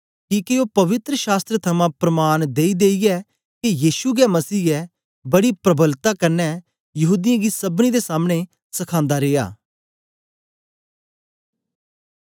किके ओ पवित्र शास्त्र थमां प्रमाण देईदेईयै के यीशु गै मसीह ऐ बड़ी प्रबलता कन्ने यहूदीयें गी सबनी दे सामने सखांदा रिया